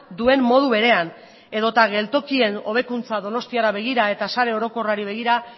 duen modu berean edota geltokien hobekuntza donostiara begira eta sare orokorrari begira